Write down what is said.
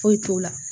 Foyi t'o la